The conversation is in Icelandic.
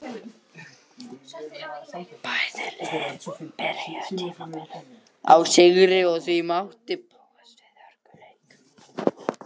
Bæði lið byrjuðu tímabilið á sigri og því mátti búast við hörkuleik.